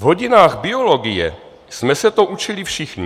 V hodinách biologie jsme se to učili všichni.